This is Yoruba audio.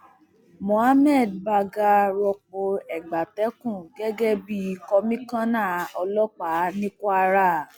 mohammed bagga rọpò egbatẹkùn gẹgẹ bíi kọmíkànnà ọlọpàá ní kwara